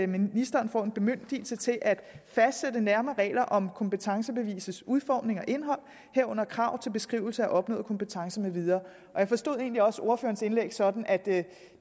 ministeren får en bemyndigelse til at fastsætte nærmere regler om kompetencebevisets udformning og indhold herunder krav til beskrivelse af opnået kompetence med videre jeg forstod egentlig også ordførerens indlæg sådan at